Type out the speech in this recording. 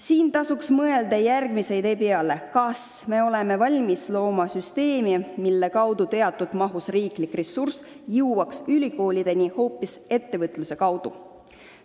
Siin tasuks mõelda järgmise idee peale: kas me oleme valmis looma süsteemi, mille kaudu teatud osa riigi rahast jõuaks ülikoolideni ettevõtluse kaudu?